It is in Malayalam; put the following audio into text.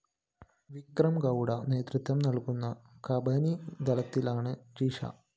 വിക്രംഗൗഡ നേതൃത്വം നല്‍കുന്ന കബനി ദളത്തിലാണ് ജിഷ